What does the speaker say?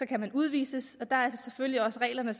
kan man udvises og der er selvfølgelig også regler der